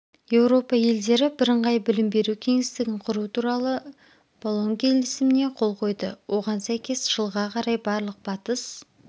еуропа елдері бірыңғай білім беру кеңістігін құру туралы болон келісіміне қол қойды оған сәйкес жылға қарай барлық батыс